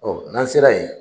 Ɔ n'an sera yen.